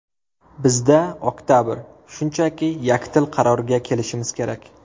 Bizda oktabr, shunchaki yakdil qarorga kelishimiz kerak.